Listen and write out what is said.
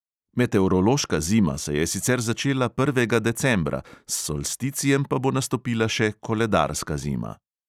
Meteorološka zima se je sicer začela prvega decembra, s solsticijem pa bo nastopila še koledarska zima.